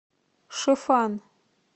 шифан